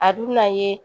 A dun mi na ye